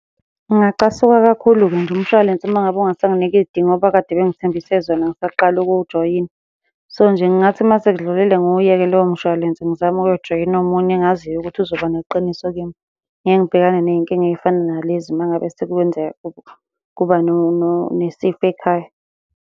Ngingacasuka kakhulu-ke nje umshwalense uma ngabe ungasanginiki iy'dingo abakade bengithembise zona ngisaqala ukuwujoyina. So, nje kungathi uma sekudlulile ngiwuyeke lowo mshwalense ngizame ukuyojoyina omunye engaziyo ukuthi uzoba neqiniso kimi. Ngeke ngibhekane ney'nkinga ey'fana nalezi uma ngabe sekwenzeka kuba, kuba nesifo ekhaya.